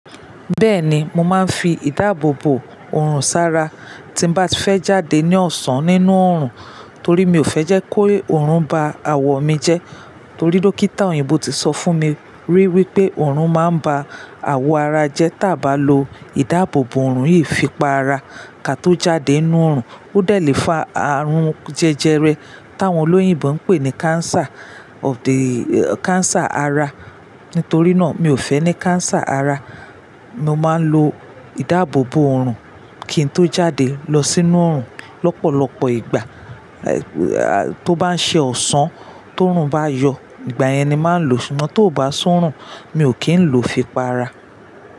Bẹ́ẹ̀ni, mo máa ń fi ìdáàbòbò oorun sara tí ń bá fẹ́ jáde ní ọ̀sán nínú oorun, torí mi ò fẹ́ jẹ́ kó oorun ba awọ mi jẹ. Torí dókítà òyìnbó ti sọ fún mi rí wípé oorun máa ń ba awọ ara jẹ tí a bá lo ìdáàbòbò oorun yìí fi pa ara. Ka tó jáde nínú oorun, ó dẹ̀ lé fa àrùn jẹjẹrẹ táwọn olóyìnbo ń pè ní cancer of the, cancer ara. Nítorí náà, mi ò fẹ́ ní cancer ara, mo máa ń lo ìdáàbòbò oorun kí n tó jáde lọ sínú oorun lọ́pọ̀lọpọ̀ ìgbà. Tó bá ń ṣe ọ̀sán, tó oorun bá yọ, ìgbà yẹn ni màá ń lo, ṣùgbọ́n tó bá si oorun, mi ò kí ń lo fi pa ara.